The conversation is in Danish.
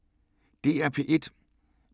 DR P1